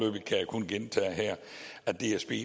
dsb